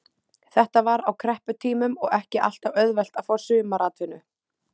Þetta var á krepputímum og ekki alltaf auðvelt að fá sumaratvinnu.